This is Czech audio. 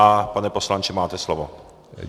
A pane poslanče, máte slovo.